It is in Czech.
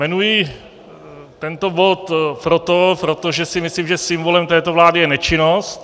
Jmenuji tento bod proto, protože si myslím, že symbolem této vlády je nečinnost.